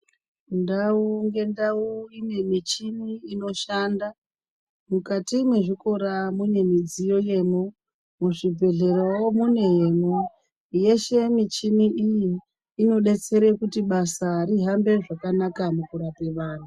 Ndau nge ndau ine michini ino shanda mukati mwe zvikora mune midziyo yemo mu zvibhedhlerawo mune yemwo yeshe michini iyi inodetsere kuti basa ri hambe zvakanaka muku rape vantu.